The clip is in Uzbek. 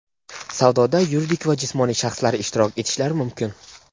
Savdoda yuridik va jismoniy shaxslar ishtirok etishlari mumkin.